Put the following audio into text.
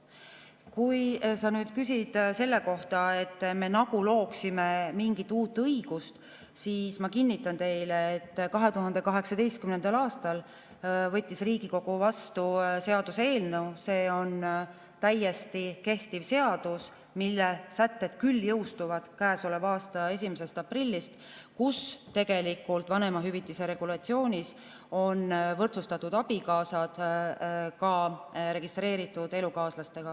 Kui sa küsid selle kohta, et me nagu looksime mingit uut õigust, siis ma kinnitan, et 2018. aastal võttis Riigikogu seaduse vastu, see on täiesti kehtiv seadus, mille sätted jõustuvad käesoleva aasta 1. aprillist ja kus vanemahüvitise regulatsioonis on abikaasad võrdsustatud registreeritud elukaaslastega.